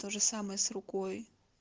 тоже самое с рукой